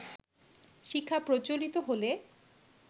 শিখা প্রজ্জ্বলিত হলে